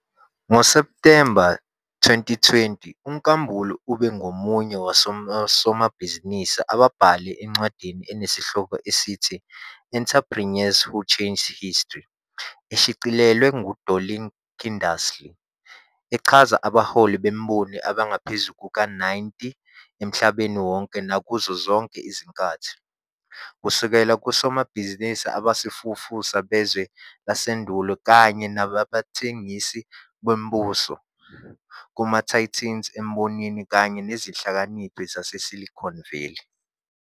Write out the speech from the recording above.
NgoSepthemba 2020 uNkambule ube ngomunye wosomabhizinisi ababhalwe encwadini enesihloko esithi " "Entrepreneurs Who Changed History" " eshicilelwe nguDorling Kindersley, echaza abaholi bemboni abangaphezu kuka-90 emhlabeni wonke nakuzo zonke izinkathi - kusukela kosomabhizinisi abasafufusa bezwe lasendulo kanye abathengisi bombuso, kuma-titans embonini kanye nezihlakaniphi zaseSilicon Valley.